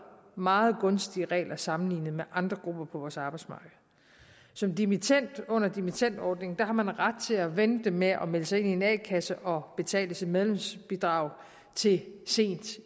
meget gunstige regler sammenlignet med andre grupper på vores arbejdsmarked som dimittend under dimittendordningen har man ret til at vente med at melde sig ind i en a kasse og betale sit medlemsbidrag til sent